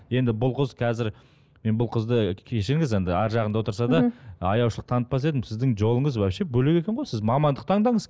енді бұл қыз қазір мен бұл қызды кешіріңіз енді арғы жағында отырса да аяушылық танытпас едім сіздің жолыңыз вообще бөлек екен ғой сіз мамандық таңдаңыз